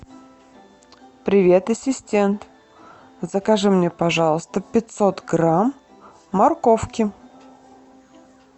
привет ассистент закажи мне пожалуйста пятьсот грамм морковки